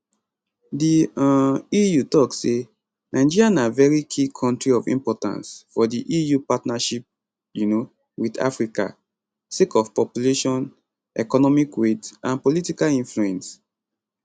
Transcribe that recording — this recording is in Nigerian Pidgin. di um eu tok say nigeria na very key kontri of importance for di eu partnership um wit africa sake of population economic weight and political influence